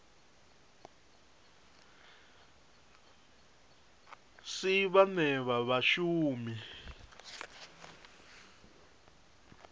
si vhane vha vha vhashumi